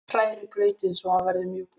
Hrærið grautinn svo hann verði mjúkur.